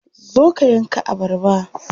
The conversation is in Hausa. Zo ka yanka abarba.